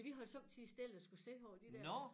Så vi holder somme tider stille og skulle se på de der